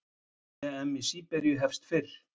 EM í Serbíu hefst fyrr